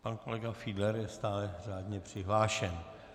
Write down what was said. Pan kolega Fiedler je stále řádně přihlášen.